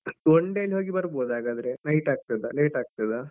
One day ಅಲ್ಲಿ ಹೋಗಿ ಬರ್ಬೋದು ಹಾಗಾದ್ರೆ night ಆಗ್ತದ? late ಆಗ್ತದ?